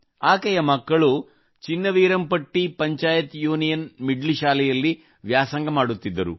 ಆಕೆಯ ಮಕ್ಕಳು Chinnaveerampatti panchayat union middle ಶಾಲೆಯಲ್ಲಿ ವ್ಯಾಸಂಗ ಮಾಡುತ್ತಿದ್ದರು